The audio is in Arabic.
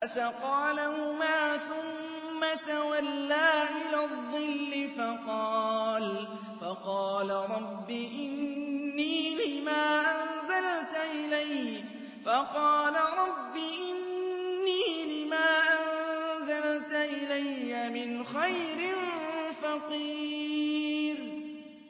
فَسَقَىٰ لَهُمَا ثُمَّ تَوَلَّىٰ إِلَى الظِّلِّ فَقَالَ رَبِّ إِنِّي لِمَا أَنزَلْتَ إِلَيَّ مِنْ خَيْرٍ فَقِيرٌ